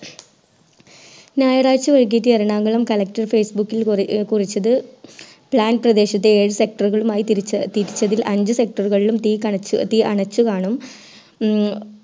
ഞായറാഴ്ച വൈകിട്ടു എറണാകുളം collectorFacebook കുറിച്ചത് plan പ്രദേശത്തെ ഏഴ് sector മായി തിരിച്ചതിൽ അഞ്ച്‌ sector കളിലും തീ അണച്ചു കാണും